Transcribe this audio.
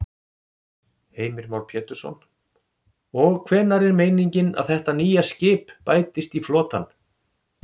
Heimir Már Pétursson: Og hvenær er meiningin að þetta nýja skip bætist í flotann?